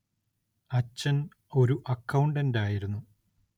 അച്ഛൻ ഒരു അക്കൗണ്ടന്റായിരുന്നു.